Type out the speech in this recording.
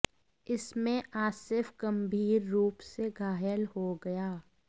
इसमें आसिफ गंभीर रूप से घायल हो गया